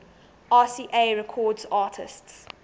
rca records artists